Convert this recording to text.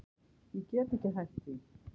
Ég get ekki hætt því.